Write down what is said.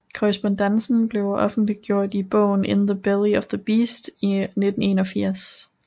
Korrespondancen blev offentliggjort i bogen In the belly of the beast i 1981